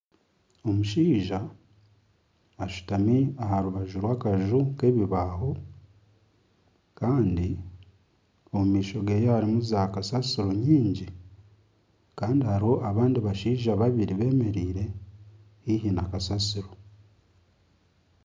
Omushaija ashutami aha rubaju rwakaju k'ebibaaho kandi omu maisho geye hariyo zaakasasiro nyingi kandi hariho abandi bashaija babiri bemereire haihi na kasasiro.